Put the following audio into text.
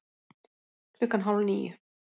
Klukkan hálf níu